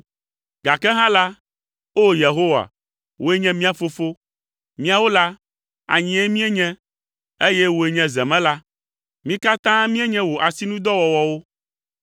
gake hã la, o Yehowa, wòe nye mía Fofo. Míawo la, anyie mienye eye wòe nye zemela. Mí katã mienye wò asinudɔwɔwɔwo.